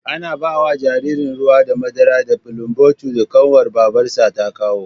Ana bawa ɗan jaririn ruwa da madara da bulumbotin da ƙanwar babarsa ta kawo